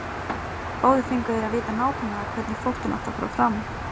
Báðir fengu þeir að vita nákvæmlega hvernig flóttinn átti að fara fram.